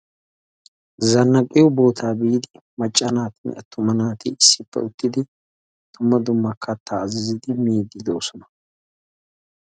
Zannaqqiyo biyo sohuwa biiddi maca naatinne atumma naati dumma dumma katta miide de'osonna.